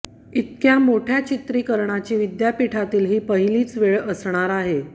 इतक्या मोठ्या चित्रीकरणाची विद्यापीठातील ही पहिलीच वेळ असणार आहे